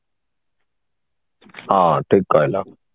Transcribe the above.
ହଁ ଠିକ କହିଲ